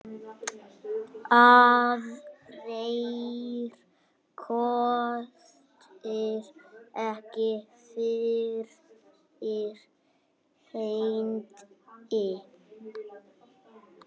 Aðrir kostir ekki fyrir hendi.